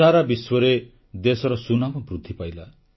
ସାରା ବିଶ୍ୱରେ ଦେଶର ସୁନାମ ବୃଦ୍ଧି ପାଇଲା